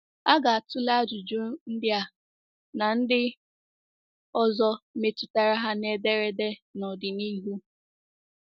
A ga-atụle ajụjụ ndị a na ndị ọzọ metụtara ha n’ederede n'ọdịnihu.